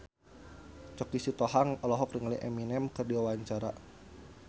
Choky Sitohang olohok ningali Eminem keur diwawancara